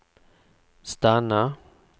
stanna